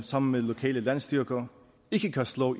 sammen med lokale landstyrker ikke kan slå